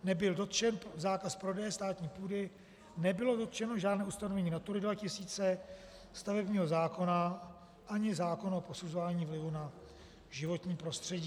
Nebyl dotčen zákaz prodeje státní půdy, nebylo dotčeno žádné ustanovení Natury 2000, stavebního zákona ani zákona o posuzování vlivu na životní prostředí.